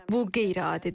Bu qeyri-adidir.